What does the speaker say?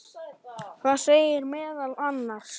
Það segir meðal annars